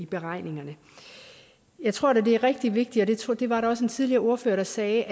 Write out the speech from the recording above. beregningerne jeg tror det er rigtig vigtigt og det var der også en tidligere ordfører der sagde